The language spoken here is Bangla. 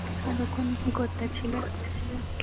এতক্ষণ কি করতেছিলে